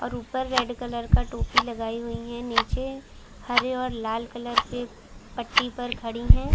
और ऊपर red colour का टोपी लगायी हुई है नीचे हरे और लाल कलर के पट्टी पर खड़ी है।